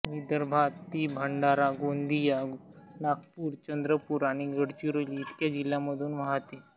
विदर्भात ती भंडारा गोंदिया नागपूर चंद्रपूर आणि गडचिरोली इतक्या जिल्ह्यांमधून वाहते